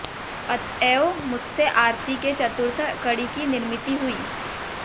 अतएव मुझसे आरती के चतुर्थ कडी की निर्मिती हुई